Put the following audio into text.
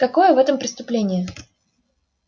какое в этом преступление